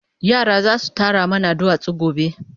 Yara zasu tara mana duwatsu gobe